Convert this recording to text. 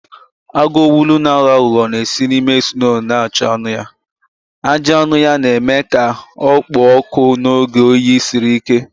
Agụ owulu na-aghọ aghụghọ na-esi n'ime snoo na-achụ anụ ya, ajị anụ ya na-eme ka ọ kpoo ọkụ n'oge oyi siri ike.